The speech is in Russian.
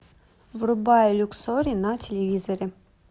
врубай люксори на телевизоре